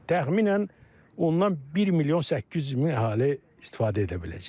Təxminən ondan 1 milyon 800 min əhali istifadə edə biləcək.